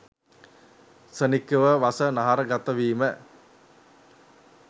ක්ෂණිකව වස නහර ගත වීම